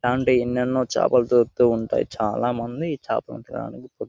ఇలాంటి ఎన్నెన్నో చాపలు దొరుకుతూ ఉంటాయి చాలా మంది ఈ చాపల్ని ల్ని తినాలని --